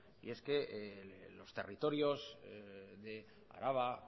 y es que los territorios de araba